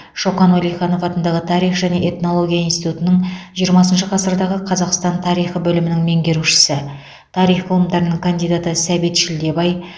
шоқан уәлиханов атындағы тарих және этнология институтының жиырмасыншы ғасырдағы қазақстан тарихы бөлімінің меңгерушісі тарих ғылымдарының кандидаты сәбит шілдебай